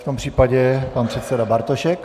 V tom případě pan předseda Bartošek.